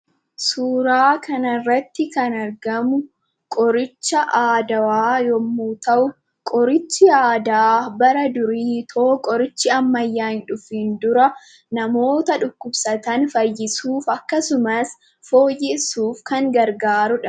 Suuraa kana irratti kan argamuqoricha aadaawa yemmu ta'u, qorichi aadaa bara durii utuu qorichi ammayyaa in dhufin dura namoora dhukkubsatan fayyisuuf akkasumas fooyyeessuf kan gargaruudha.